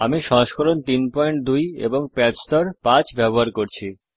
আমি সংস্করণ ৩২ প্যাচ স্তর ৫ ব্যবহার করছি